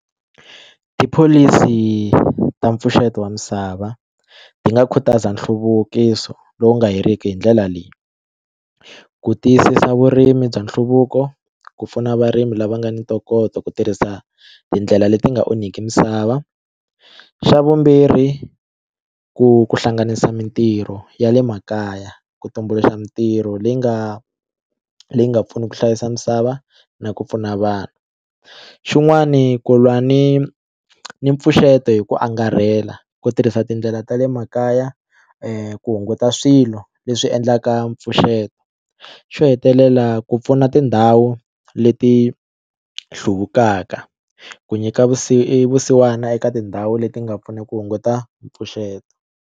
Tipholisi ta mpfuxeto wa misava ti nga khutaza nhluvukiso lowu nga heriki hi ndlela leyi ku tiyisisa vurimi bya nhluvuko ku pfuna varimi lava nga ni ntokoto ku tirhisa tindlela leti nga onhiki misava xa vumbirhi ku ku hlanganisa mitirho ya le makaya ku tumbuluxa mitirho leyi nga leyi nga pfuna ku hlayisa misava na ku pfuna vanhu xin'wani ku lwa ni ni mpfuxeto hi ku angarhela ku tirhisa tindlela ta le makaya ku hunguta swilo leswi endlaka mpfuxeto xo hetelela ku pfuna tindhawu leti hluvukaka ku nyika vusiwana eka tindhawu leti nga pfuna ku hunguta mpfuxeto.